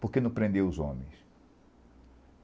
Porque não prendeu os homens?